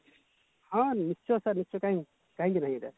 ହଁ ନିଶ୍ଚୟ ସିର କାହିଁକି କାହିଁକି ନାଇଁ